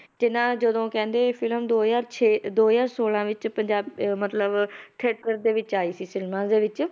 ਤੇ ਨਾ ਜਦੋਂ ਕਹਿੰਦੇ film ਦੋ ਹਜ਼ਾਰ ਛੇ ਦੋ ਹਜ਼ਾਰ ਛੋਲਾਂ ਵਿੱਚ ਪੰਜਾ~ ਅਹ ਮਤਲਬ theaters ਦੇ ਵਿੱਚ ਆਈ ਸੀ ਫਿਲਮਾਂ ਦੇ ਵਿੱਚ